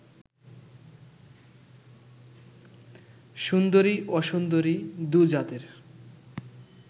সুন্দরী অসুন্দরী দু জাতের